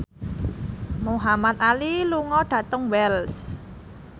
Muhamad Ali lunga dhateng Wells